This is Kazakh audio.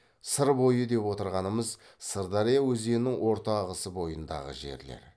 сыр бойы деп отырғанымыз сырдария өзенінің орта ағысы бойындағы жерлер